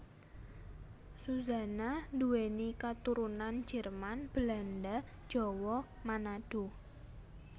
Suzanna nduweni katurunan Jerman Belanda Jawa Manado